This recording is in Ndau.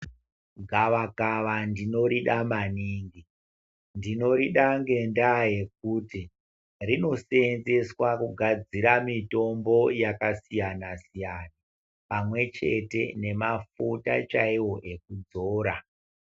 Gavakava ndinorida maningi . Ndinorida ngendaa yekuti rinoseenzeswa kugadzira mitombo yakasiyana siyana pamwechete nemafuta chaiwo ekudzora.